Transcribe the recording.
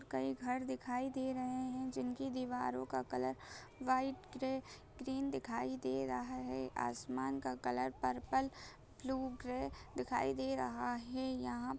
कई घर दिखाई दे रहे हैं जिनकी दीवारों का कलर व्हाइट ग्रे ग्रीन दिखाई दे रहा है। आसमान का कलर पर्पल ब्लू ग्रे दिखाई दे रहा हे। यहाँ --